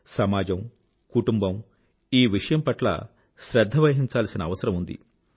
సమాజానికీ కుటుంబానికీ ఈ విషయం పట్ల శ్రధ్ధ వహించాల్సిన అవసరం ఉంది